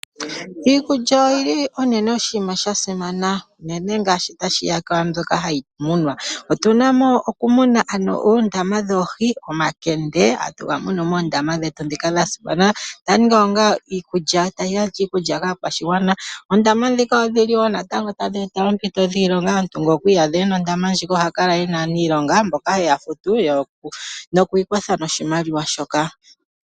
Iikulya oyili unene oshinima sha simana, unene ngele tashi ya kwaambyoka hayi munwa. Otu na mo okumuna ano koondama dhoohi, omakende atu ga mono moondama dhetu dhika dha simana , tadhi gandja iikulya kaakwashigwana. Oondama dhika natango odhili wo tadhi eta oompito dhiilonga, omuntu ngele okwa iyadha ena ondama ndjika oha kala ena aaniilonga mboka heya futu, nokwiikwatha noshimaliwa shoka.